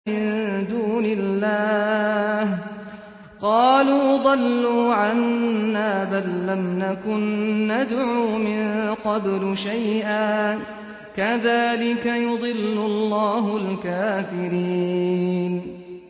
مِن دُونِ اللَّهِ ۖ قَالُوا ضَلُّوا عَنَّا بَل لَّمْ نَكُن نَّدْعُو مِن قَبْلُ شَيْئًا ۚ كَذَٰلِكَ يُضِلُّ اللَّهُ الْكَافِرِينَ